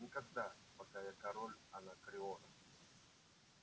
никогда пока я король анакреона